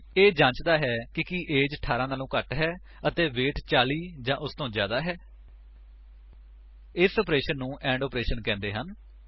ਇਹ ਜਾਂਚਦਾ ਹੈ ਕਿ ਕੀ ਏਜ 18 ਵਲੋਂ ਘੱਟ ਹੈ ਅਤੇ ਵੇਟ 40 ਜਾਂ ਉਸਤੋਂ ਜਿਆਦਾ ਹੈ160 ਇਸ ਆਪਰੇਸ਼ਨ ਨੂੰ ਐਂਡ ਆਪਰੇਸ਼ਨ ਕਹਿੰਦੇ ਹਨ